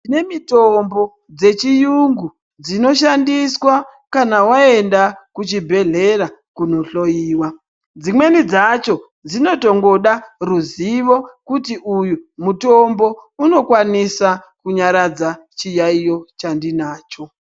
Tine mitombo dzechiyungu dzinoshandiswa kana waenda kuchibhedhlera kunohloyiwa dzimweni dzacho dzinotongoda ruzivo kuti uyu mutombo unokwanisa kunyaradza chiyayiyo chandinacho.